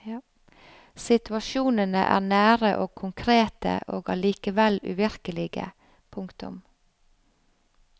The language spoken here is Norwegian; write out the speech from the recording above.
Situasjonene er nære og konkrete og allikevel uvirkelige. punktum